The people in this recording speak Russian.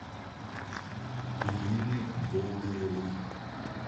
ирины болдыревой